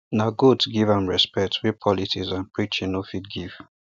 na goats give am respect wey politics and preaching no fit give